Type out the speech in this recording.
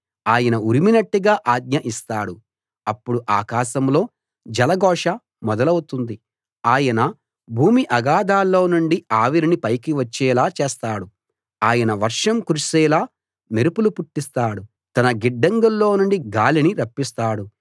ఆయన ఉరిమినట్టుగా ఆజ్ఞ ఇస్తాడు అప్పుడు ఆకాశంలో జలఘోష మొదలవుతుంది ఆయన భూమి అగాధాల్లో నుండి ఆవిరిని పైకి వచ్చేలా చేస్తాడు ఆయన వర్షం కురిసేలా మెరుపులు పుట్టిస్తాడు తన గిడ్డంగుల్లోనుండి గాలిని రప్పిస్తాడు